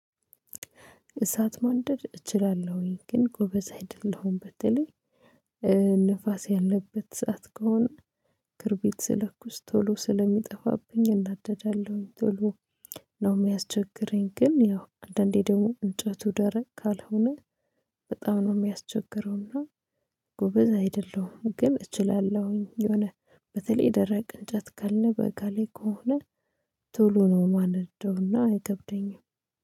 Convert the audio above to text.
እሳት ማንደድ እችላለሁኝ ግን ጎበዝ አይደለሁም። በተለይ ንፋስ ያለበት ሰዓት ከሆነ ክርቢት ስለኩስ ቶሎ ስለሚጠፋብኝ እናደዳለሁኝ። ቶሎ ነው የሚያስቸግረኝ። ግን ያው አንዳንዴ ደግሞ እንጨቱ ደረቅ ካልሆነ በጣም ነው የሚያስቸግረውና ጎበዝ አይደለሁም። ግን እችላለሁኝ የሆነ በተለይ ደረቅ እንጨት ካለ በጋ ላይ ከሆነ ቶሎ ነው የማነደውና አይከብደኝም